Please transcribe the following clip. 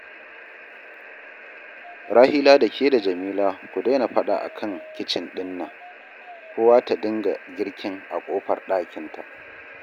Rahila da ke da Jamila ku daina faɗa a kan kicin ɗin nan, kowa ta dinga girkin a ƙofar ɗakinta